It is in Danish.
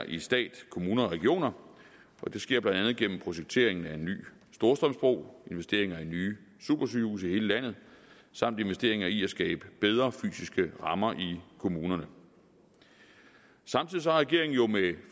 i stat kommuner og regioner og det sker blandt andet gennem projekteringen af en ny storstrømsbro investeringer i nye supersygehuse i hele landet samt investeringer i at skabe bedre fysiske rammer i kommunerne samtidig har regeringen jo med